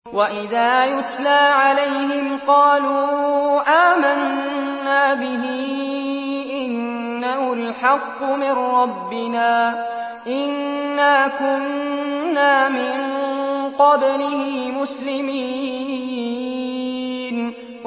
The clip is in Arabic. وَإِذَا يُتْلَىٰ عَلَيْهِمْ قَالُوا آمَنَّا بِهِ إِنَّهُ الْحَقُّ مِن رَّبِّنَا إِنَّا كُنَّا مِن قَبْلِهِ مُسْلِمِينَ